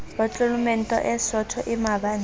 potlolomente e sootho e mabanta